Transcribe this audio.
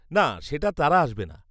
না, সেটা তারা আসবে না।